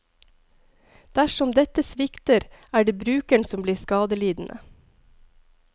Dersom dette svikter, er det brukeren som blir skadelidende.